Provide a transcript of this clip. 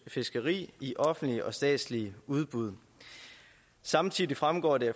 fiskeri i offentlige og statslige udbud samtidig fremgår det